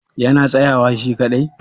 yana tsayawa shi kaɗai?